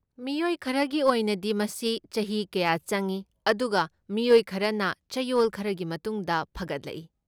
ꯃꯤꯑꯣꯏ ꯈꯔꯒꯤ ꯑꯣꯏꯅꯗꯤ, ꯃꯁꯤ ꯆꯍꯤ ꯀꯌꯥ ꯆꯪꯏ, ꯑꯗꯨꯒ ꯃꯤꯑꯣꯏ ꯈꯔꯅ ꯆꯌꯣꯜ ꯈꯔꯒꯤ ꯃꯇꯨꯡꯗ ꯐꯒꯠꯂꯛꯏ ꯫